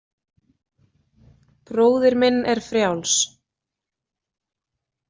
Bróðir minn er frjáls.